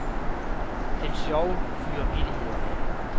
Den sjove fyrer vittigheder af.